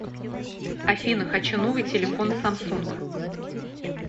афина хочу новый телефон самсунг